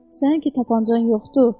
Sənin ki tapançan yoxdur?